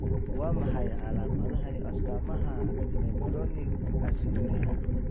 Waa maxay calaamadaha iyo astamaha Mevalonic aciduria?